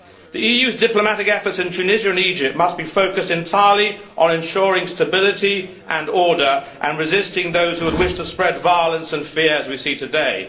The EU's diplomatic efforts in Tunisia and Egypt must be focused entirely on ensuring stability and order, and resisting those who would wish to spread violence and fear as we see today.